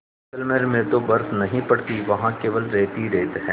जैसलमेर में तो बर्फ़ नहीं पड़ती वहाँ केवल रेत ही रेत है